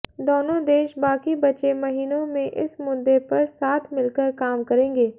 दोनों देश बाकी बचे महीनों में इस मुद्दे पर साथ मिलकर काम करेंगे